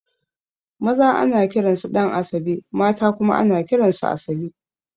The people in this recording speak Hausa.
Maza ana kiran su Ɗan'asabe mata kuma ana kiran su Asabe